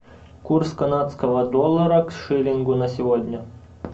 курс канадского доллара к шиллингу на сегодня